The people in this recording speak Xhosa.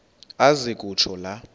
aze kutsho la